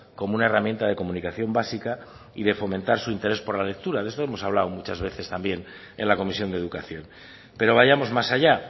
como una herramienta de comunicación básica y de fomentar su interés por la lectura de esto hemos hablado muchas también en la comisión de educación pero vayamos más allá